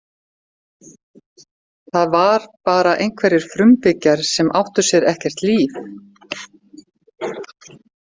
Það var bara einhverjir frumbyggjar sem átti sér ekkert líf.